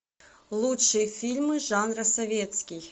лучшие фильмы жанра советский